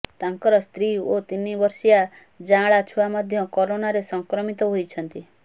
ତାଙ୍କର ସ୍ତ୍ରୀ ଓ ତିନି ବର୍ଷୀୟ ଯାଁଳା ଛୁଆ ମଧ୍ୟ କରୋନାରେ ସଂକ୍ରମିତ ହୋଇଛନ୍ତି